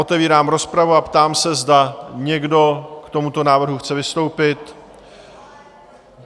Otevírám rozpravu a ptám se, zda někdo k tomuto návrhu chce vystoupit?